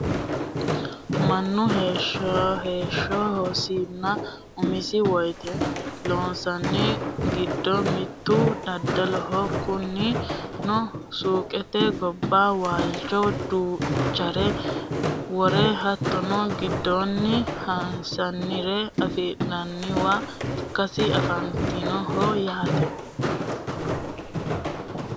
mannu heeshshosinna umosi woyyeessate loosannori giddo mittu daddaloho kunino suuqete gobba waalcho duuchare worre hattono giddoonni hasi'nire afi'nanniwa ikkasi anfanniho yaate